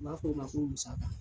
U b'a fɔ o ma ko musaka.